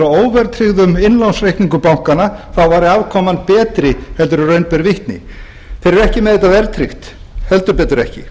óverðtryggðum innlánsreikningum bankanna þá væri afkoman betri heldur en raun ber vitni þeir eru ekki með þetta verðtryggt heldur betur ekki